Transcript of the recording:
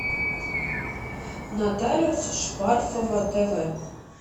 нотариус шпарфова тв